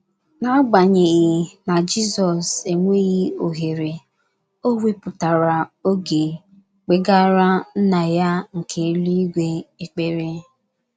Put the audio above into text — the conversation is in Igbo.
N’agbanyeghị na Jizọs enweghị ohere, o wepụtara oge kpegara Nna ya nke eluigwe ekpere.